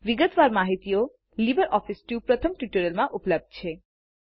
વિગતવાર માહિતીઓ લીબરઓફીસ સ્યુટના પ્રથમ ટ્યુટોરીઅલમાં ઉપલબ્ધ છે